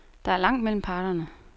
Der er langt mellem parterne.